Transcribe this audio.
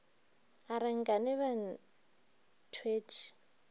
a re nkane ba thwetše